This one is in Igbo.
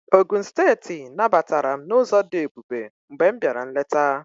Ogụn steeti nabatara m n'ụzọ dị ebube mgbe m bịara nleta